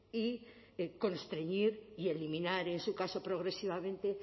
y constreñir y eliminar en su caso progresivamente